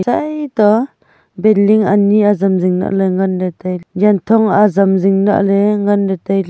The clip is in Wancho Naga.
chai to building building ani ajam jing alhle ngan ne taile janthong ajam jing lahle ngan taile.